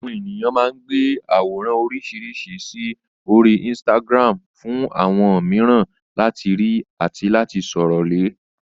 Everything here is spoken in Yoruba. Àwọn ènìyàn máa ń gbé àwòrán oríṣiríṣi sí orí Instagram fún àwọn mìíràn láti rí àti sọ̀rọ̀ lé